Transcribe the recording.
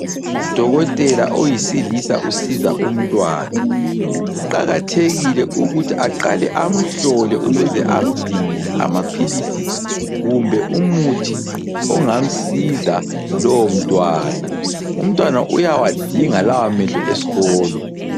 Udokotela oyisilisa usiza umntwana. Kuqakathekile ukuthi aqale amhlole ukuze amdingele amaphilisi kumbe umuthi ongamsiza lowomntwana. Umntwana uyawadinga lawamehlo esikolo.